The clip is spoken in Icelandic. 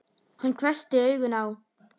Hann hvessti augun á